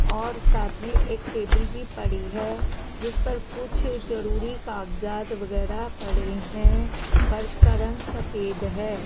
और साथ में एक टेबिल भी पड़ी है जिस पर कुछ जरूरी कागजात वगैरह पड़े हैं फर्श का रंग सफेद है।